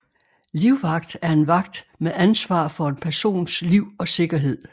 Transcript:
Livvagt er en vagt med ansvar for en persons liv og sikkerhed